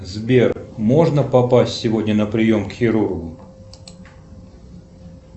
сбер можно попасть сегодня на прием к хирургу